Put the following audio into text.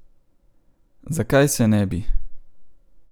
Zakaj se ne bi?